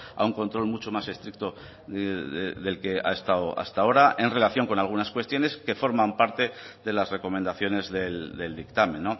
a un control mucho más estricto del que ha estado hasta ahora en relación con algunas cuestiones que forman parte de las recomendaciones del dictamen